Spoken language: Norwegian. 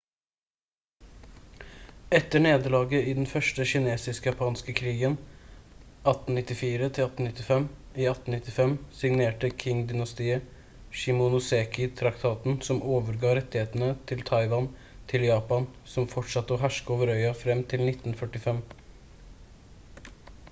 etter nederlaget i den første kinesisk-japanske krigen 1894-1895 i 1895 signerte qing-dynastiet shimonoseki-traktaten som overga rettighetene til taiwan til japan som fortsatte å herske over øya fram til 1945